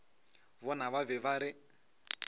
bona ba be ba re